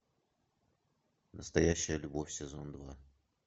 настоящая любовь сезон два